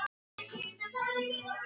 Arnþrúður, hvenær kemur vagn númer sjö?